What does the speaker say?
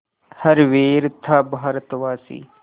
हर वीर था भारतवासी